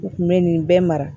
U kun bɛ nin bɛɛ mara